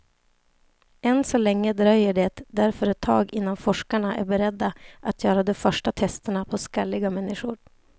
Än så länge dröjer det därför ett tag innan forskarna är beredda att göra de första testerna på skalliga människor.